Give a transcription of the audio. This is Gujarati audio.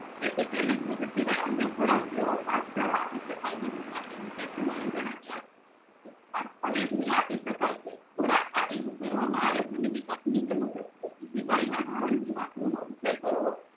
તેથી તેને દુધ અન્ય ખોરાક જેવો ઘાસચારો આપીશકાય નહિ માટે નીચે પ્રમાણ જણાવ્યા અવેજ ની આપી શકાય છે ખોરાક આપી ઉછેર વામાં આવે તેની વિગત નીચે મુજબ છે બીજી ગાય ના ધાવણ થી વાછરું નો ઉછેર કરવો